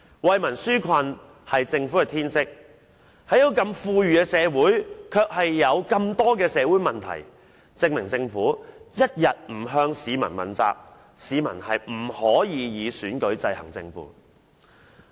惠民紓困是政府的天職，但這個如此富裕的社會卻有這麼多社會問題，證明政府一天不向市民問責，市民便不能以選舉制衡政府。